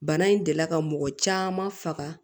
Bana in delila ka mɔgɔ caman faga